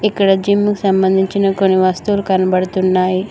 ఇక్కడ జిమ్ముకు సంబంధించిన కొన్ని వస్తువులు కనబడుతున్నాయి.